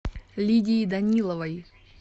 лидии даниловой